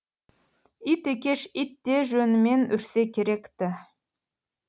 ит екеш ит те жөнімен үрсе керекті